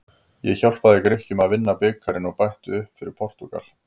Ég hjálpaði Grikkjum að vinna bikarinn og bætti upp fyrir Portúgal.